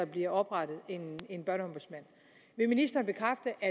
bliver oprettet en børneombudsmand vil ministeren bekræfte at